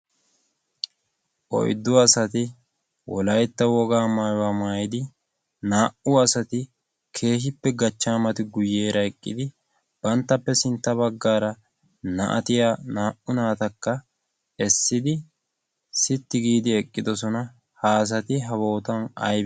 oyddu asati wolaytta wogaa maayuwa maayidi naa"u asati gachaamati eqidi bantappe sintta bagaaara na'atiya naata eqidosona, ha asaty aybatee?